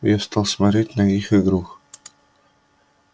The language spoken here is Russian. я стал смотреть на их игру